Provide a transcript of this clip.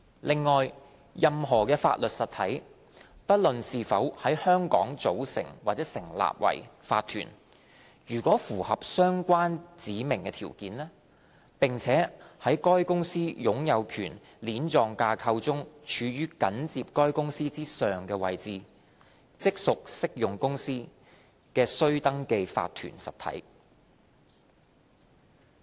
另外，任何法律實體，不論是否在香港組成或成立為法團，如符合相關指明條件，並且在該公司擁有權鏈狀架構中處於緊接該公司之上的位置，即屬適用公司的須登記法律實體。